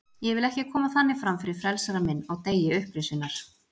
Ég vil ekki koma þannig fram fyrir frelsara minn á degi upprisunnar.